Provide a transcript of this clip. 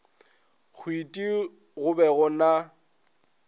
hwiti go be go na